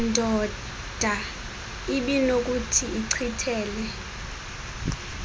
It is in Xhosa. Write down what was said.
ndoda ibinokuthi ichithele